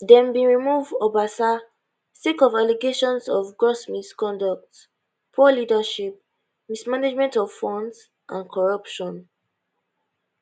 dem bin remove obasa sake of allegations of gross misconduct poor leadership mismanagement of funds and corruption